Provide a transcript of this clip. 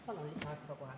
Palun lisaaega ka kohe.